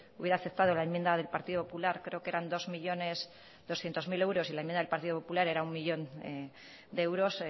hubiera aceptado la enmienda del partido popular creo que eran dos millónes doscientos mil euros y la enmienda del partido popular era uno millón de euros